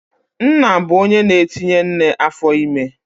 Nna bụ onye na-etinye nne afọime